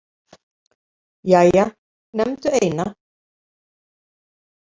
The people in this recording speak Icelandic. Jæja, nefndu eina